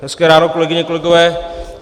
Hezké ráno, kolegyně, kolegové.